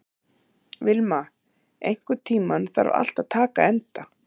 Vilma, einhvern tímann þarf allt að taka enda.